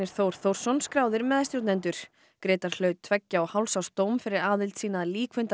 Þór Þórsson skráðir meðstjórnendur Grétar hlaut tveggja og hálfs árs dóm fyrir aðild sína að